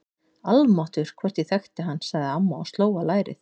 Almáttugur, hvort ég þekkti hann sagði amma og sló á lærið.